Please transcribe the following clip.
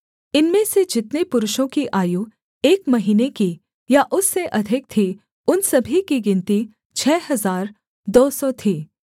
इनमें से जितने पुरुषों की आयु एक महीने की या उससे अधिक थी उन सभी की गिनती छः हजार दो सौ थी